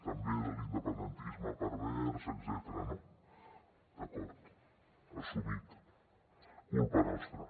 també de l’independentisme pervers etcètera no d’acord assumit culpa nostra